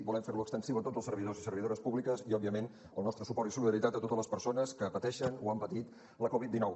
volem fer lo extensiu a tots els servidors i servidors públiques i òbviament el nostre suport i solidaritat a totes les persones que pateixen o han patit la covid dinou